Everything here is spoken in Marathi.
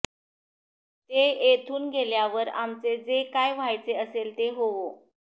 ते येथून गेल्यावर आमचे जे काय व्हायचे असेल ते होवो